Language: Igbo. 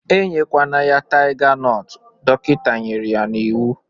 Enyekwana ya taiga nọt, dọkịta nyere ya n'iwu!